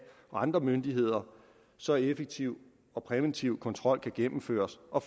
og andre myndigheder så effektiv og præventiv kontrol kan gennemføres og